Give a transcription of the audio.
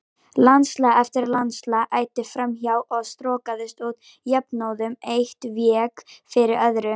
Landslag eftir landslag æddi fram hjá og strokaðist út jafnóðum, eitt vék fyrir öðru.